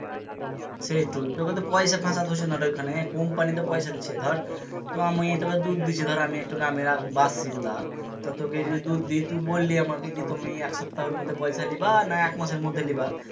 সেই তু তোকে তো পয়সা ফাঁসাতে হচ্ছে না রে ওখানে company তো পয়সা দিচ্ছে ধর তো আমি তোকে দুধ দিচ্ছি ধর আমি একটা গ্রামের বাসিন্দা তা তোকে যে দুধ দিই তুই বললি আমাকে কি তুমি এক সপ্তাহের মধ্যে পয়সা লিবা না এক মাসের মধ্যে লিবা